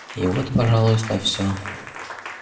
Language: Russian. и вот пожалуйста всё